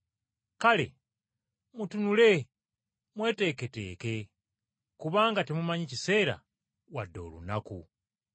“Kale mutunule mweteeketeeke, kubanga temumanyi kiseera wadde olunaku.”